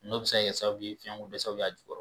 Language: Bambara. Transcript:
N'o bɛ se ka kɛ sababu ye fɛnkodɛsɛ b'a jukɔrɔ